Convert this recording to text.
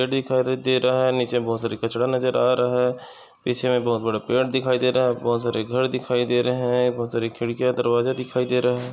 दिखा रहे ते रहा । नीचे बहुत कचडा नजर आ रहा है। पीछे मे बहुत बड़े पेड़ दिखाई दे रहे। बहुत सारी घर दिखाई दे रहे है। बहुत सारी खिड़किया दरवाजे दिखाईं दे रहे--